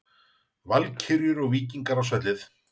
Valkyrjur og Víkingar á svellið